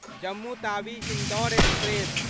Jammu Tawi Indore express